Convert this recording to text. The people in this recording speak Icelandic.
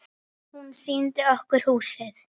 Eða hunda?